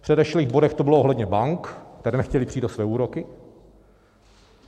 V předešlých bodech to bylo ohledně bank, které nechtěly přijít o své úroky.